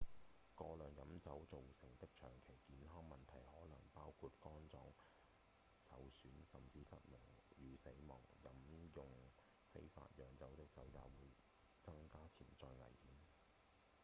過量飲酒造成的長期健康問題可能包括肝臟受損甚或失明與死亡飲用非法釀造的酒也會增加潛在危險